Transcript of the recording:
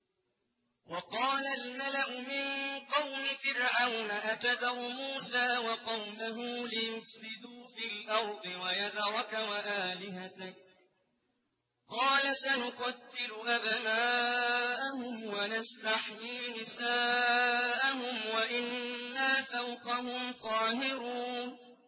وَقَالَ الْمَلَأُ مِن قَوْمِ فِرْعَوْنَ أَتَذَرُ مُوسَىٰ وَقَوْمَهُ لِيُفْسِدُوا فِي الْأَرْضِ وَيَذَرَكَ وَآلِهَتَكَ ۚ قَالَ سَنُقَتِّلُ أَبْنَاءَهُمْ وَنَسْتَحْيِي نِسَاءَهُمْ وَإِنَّا فَوْقَهُمْ قَاهِرُونَ